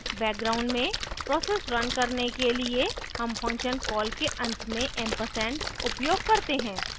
background में process run करने के लिए हम function कॉल के अंत में & ampersand उपयोग करते हैं